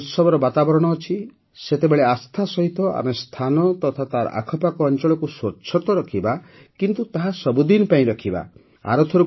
ଯେତେବେଳେ ଉତ୍ସବର ବାତାବରଣ ଅଛି ସେତେବେଳେ ଆସ୍ଥା ସହିତ ଆମେ ସ୍ଥାନ ତଥା ତାର ଆଖପାଖ ଅଞ୍ଚଳକୁ ସ୍ୱଚ୍ଛ ତ ରଖିବା କିନ୍ତୁ ତାହା ସବୁଦିନ ପାଇଁ ରଖିବା